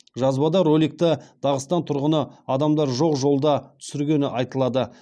жазбада роликті дағыстан тұрғыны адамдар жоқ жолда түсіргені айтылады